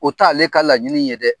O t'a ale ka laɲini ye dɛ.